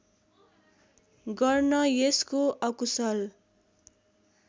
गर्न यसको अकुशल